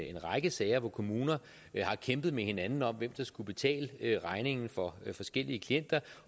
en række sager hvor kommuner har kæmpet med hinanden om hvem der skulle betale regningen for forskellige klienter